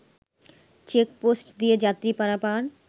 check post দিয়ে যাত্রী পারাপার